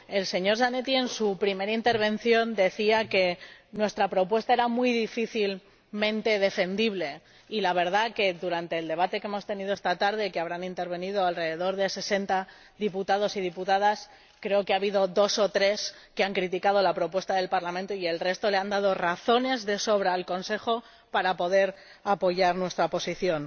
El señor Zanetti en su primera intervención decía que nuestra propuesta era muy difícilmente defendible, y la verdad es que durante el debate que hemos tenido esta tarde, en el que habrán intervenido alrededor de sesenta diputados y diputadas, creo que ha habido dos o tres que han criticado la propuesta del Parlamento y el resto le han dado razones de sobra al Consejo para poder apoyar nuestra posición.